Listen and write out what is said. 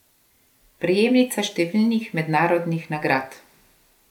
Prejemnica številnih mednarodnih nagrad.